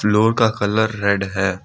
Floor का colour red है।